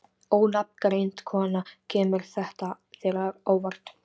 Ónafngreind kona: Kemur þetta þér á óvart?